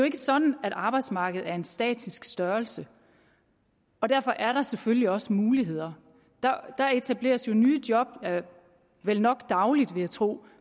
ikke sådan at arbejdsmarkedet er en statisk størrelse og derfor er der selvfølgelig også muligheder der etableres nye job vel nok dagligt vil jeg tro